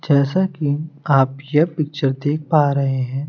जैसा कि आप यह पिक्चर देख पा रहे हैं।